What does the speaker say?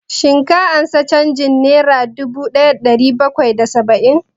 Shin ka ansa canjin nera dubu ɗaya da ɗari bakwai da saba'in?